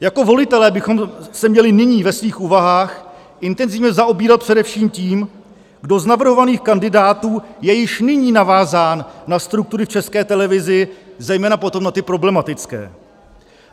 Jako volitelé bychom se měli nyní ve svých úvahách intenzivně zaobírat především tím, kdo z navrhovaných kandidátů je již nyní navázán na struktury v České televizi, zejména potom na ty problematické.